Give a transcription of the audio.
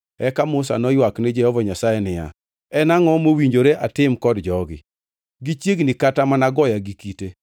Eka Musa noywak ni Jehova Nyasaye niya, “En angʼo mowinjore atim kod jogi? Gichiegni kata mana goya gi kite.”